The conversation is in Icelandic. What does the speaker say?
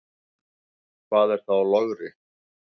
Hvað er þá logri?